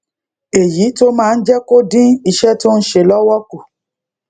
èyí tó máa ń jé kó dín iṣé tó ń ṣe lówó kù